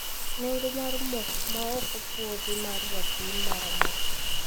Nengo mar mo ma ok opuodhi mar rapim mar Amerka,